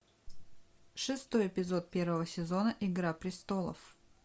шестой эпизод первого сезона игра престолов